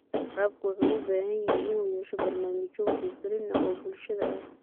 Waraabka wuxuu u baahan yahay inuu yeesho barnaamijyo wacyigelin ah oo bulshada ah.